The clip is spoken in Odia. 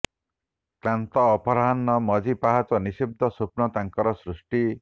କ୍ଲାନ୍ତ ଅପରାହ୍ନ ମଝି ପାହାଚ ନିଶିଦ୍ଧ ସ୍ୱପ୍ନ ତାଙ୍କର ସୃଷ୍ଟି